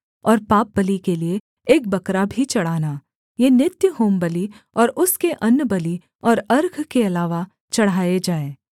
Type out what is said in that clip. और पापबलि के लिये एक बकरा भी चढ़ाना ये नित्य होमबलि और उसके अन्नबलि और अर्घ के अलावा चढ़ाए जाएँ